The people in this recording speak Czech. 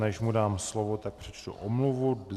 Než mu dám slovo, tak přečtu omluvu.